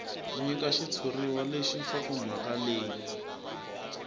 nyika xitshuriwa lexi nhlokomhaka leyi